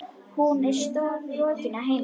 Hún er strokin að heiman.